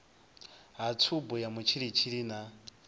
ha tshubu ya mutshilitshili na